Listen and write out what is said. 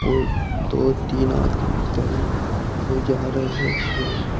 और दो तीन आदमी इधर ओर कोई जा रहे है।